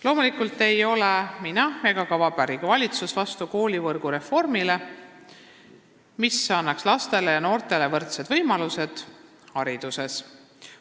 Loomulikult ei ole ei mina ega ka Vabariigi Valitsus vastu koolivõrgu reformile, mis annaks lastele ja noortele hariduses võrdsed võimalused.